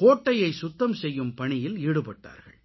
கோட்டையை சுத்தம் செய்யும் பணியில் ஈடுபட்டார்கள்